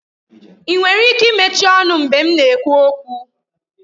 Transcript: Ị nwere ike mechie ọnụ mgbe m na-ekwu okwu?